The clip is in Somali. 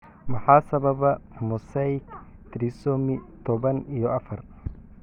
Maxaa sababa mosaic trisomy toban iyo afar?